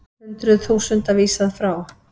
Hundruð þúsunda vísað frá